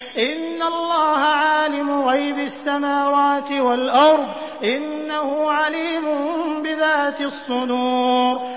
إِنَّ اللَّهَ عَالِمُ غَيْبِ السَّمَاوَاتِ وَالْأَرْضِ ۚ إِنَّهُ عَلِيمٌ بِذَاتِ الصُّدُورِ